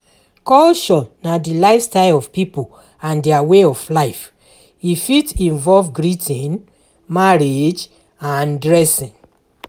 Culture na di lifestyle of people and their way of life e fit involve greeting, marriage and dressing